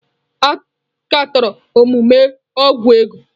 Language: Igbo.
A katọrọ omume ọgwụ ego.